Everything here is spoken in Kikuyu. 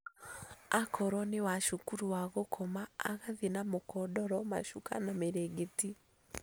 Akorwo nĩ wa cukuru wa gũkoma agathiĩ na mũkondoro macuka na mĩrĩngĩti